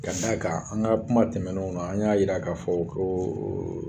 Ka d'a kan an ka kuma tɛmɛnew na, an y'a jira k'a fɔ ko